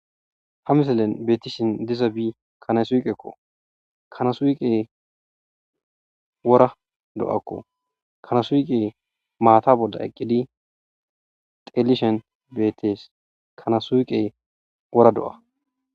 Ha misilen beettishin dizabi kana suyqekko. kanasuyqe wora do7akko. kanasuyqe maata bolla eqqidi xeelishen beettees. Kanasuuqe wora do7a.